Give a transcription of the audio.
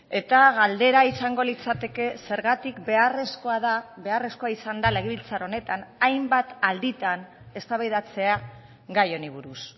eta galdera izango litzateke zergatik beharrezkoa da beharrezkoa izan da legebiltzar honetan hainbat alditan eztabaidatzea gai honi buruz